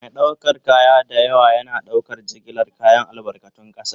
Mai ɗaukar kaya da yawa yana ɗaukar jigilar kayan albarkatun ƙasa.